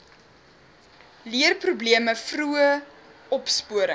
leerprobleme vroeë opsporing